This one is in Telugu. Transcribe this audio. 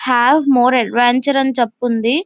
హాఫ్ మోర్ అడ్వెంచర్ అన్ని చేపి ఉంది.